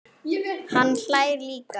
Hann hlær líka.